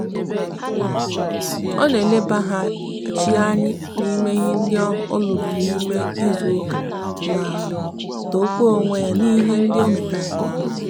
o na elebahachi anyi n'ihe ndi oluru n'ime izu uka ma tokwa onwe ya n'ihe ndi ometara nke oma